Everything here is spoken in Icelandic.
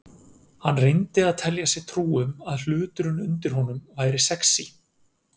Hann reyndi að telja sér trú um að hluturinn undir honum væri sexí.